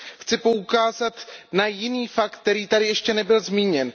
Chci poukázat na jiný fakt, který tady ještě nebyl zmíněn.